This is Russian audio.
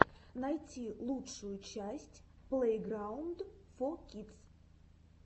найти лучшую часть плейграунд фо кидс